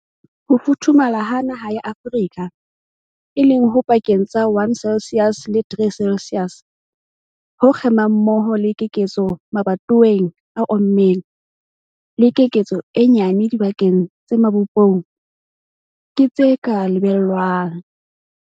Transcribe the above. Ho futhumala ha naha ya Afrika, e leng ho pakeng tsa 1 celsius le 3 celsius, ho kgemang mmoho le keketseho mabatoweng a ommeng, le keketseho e nyane dibakeng tse mabopong, ke tse ka lebellwang.